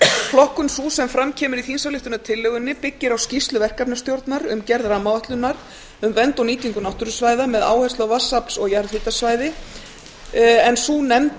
flokkun sú sem fram kemur í þingsályktunartillögunni byggir á skýrslu verkefnisstjórnar um gerð rammaáætlunar um vernd og nýtingu náttúrusvæða með áherslu á vatnsafls og jarðhitasvæði en sú nefnd